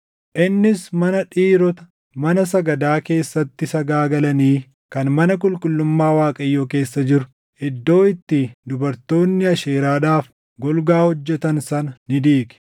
Innis mana dhiirota mana sagadaa keessatti sagaagalanii kan mana qulqullummaa Waaqayyoo keessa jiru, iddoo itti dubartoonni Asheeraadhaaf golgaa hojjetan sana ni diige.